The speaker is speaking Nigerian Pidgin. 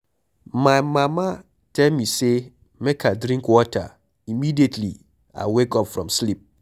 My mama tell me say make I drink water Immediately I wake up from sleep.